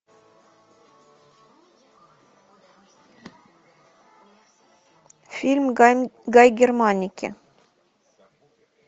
фильм гай германики